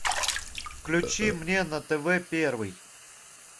включи мне на тв первый